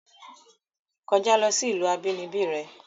Kojá lo sí ìlú abínibí re!